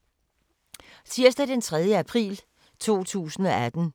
Tirsdag d. 3. april 2018